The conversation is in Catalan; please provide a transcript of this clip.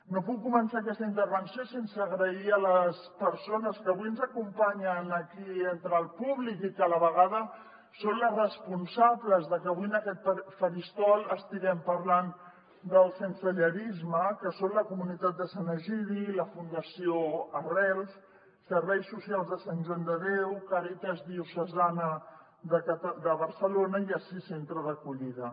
no puc començar aquesta intervenció sense donar les gràcies a les persones que avui ens acompanyen aquí entre el públic i que a la vegada són les responsables de que avui en aquest faristol estiguem parlant del sensellarisme que són la comunitat de sant egidi la fundació arrels serveis socials de sant joan de déu càritas diocesana de barcelona i assís centre d’acollida